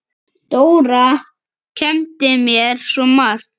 Dóra kenndi mér svo margt.